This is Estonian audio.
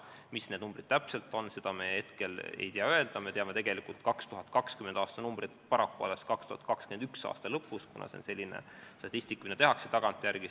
Mis need numbrid täpselt on, seda me hetkel ei tea öelda, me teame 2020. aasta numbreid paraku alles 2021. aasta lõpus, kuna see on selline statistika, mida tehakse tagantjärele.